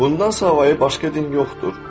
Bundan savayı başqa din yoxdur.